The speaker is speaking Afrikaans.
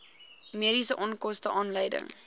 mediese onkoste aanleiding